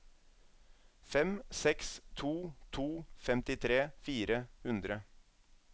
fem seks to to femtitre fire hundre